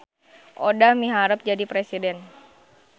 Odah miharep jadi presiden